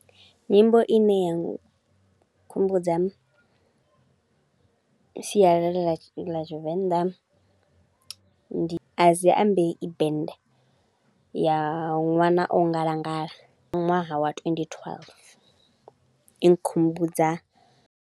Nyimbo i ne ya nkhumbudza sialala la Tshivenḓa ndi Adziambei band, ya ṅwana o ngalangala, ya ṅwaha wa twenty twelve. I nkhumbudza.